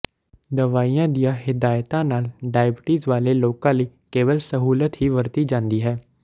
ਦਵਾਈਆਂ ਦੀਆਂ ਹਿਦਾਇਤਾਂ ਨਾਲ ਡਾਇਬੀਟੀਜ਼ ਵਾਲੇ ਲੋਕਾਂ ਲਈ ਕੇਵਲ ਸਹੂਲਤ ਹੀ ਵਰਤੀ ਜਾਂਦੀ ਹੈ